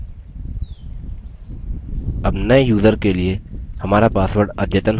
अब नये यूज़र के लिए हमारा password अद्यतन हो गया है